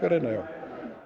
reyna já